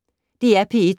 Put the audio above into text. DR P1